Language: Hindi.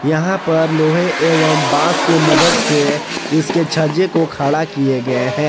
यहां पर लोहे एवं बॉस के मदद से इसके छज्जे को खड़ा किए गए हैं।